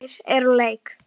Þorgeir er úr leik.